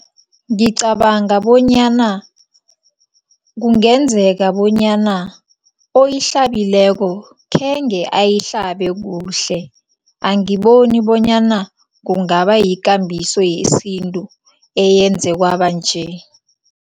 Ngicabanga bonyana kungenzeka bonyana oyihlabileko khenge ayihlabe kuhle, angiboni bonyana kungaba yikambiso yesintu eyenze kwaba nje.